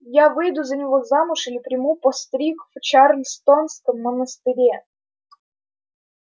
я выйду за него замуж или приму постриг в чарльстонском монастыре